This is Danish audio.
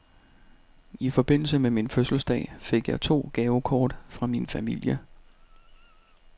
I forbindelse med min fødselsdag fik jeg to gavekort fra min familie.